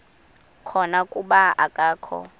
khona kuba akakho